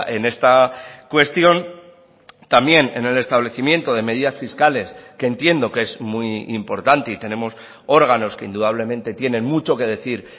en esta cuestión también en el establecimiento de medidas fiscales que entiendo que es muy importante y tenemos órganos que indudablemente tienen mucho que decir